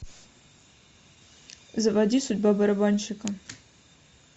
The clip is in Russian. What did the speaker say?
заводи судьба барабанщика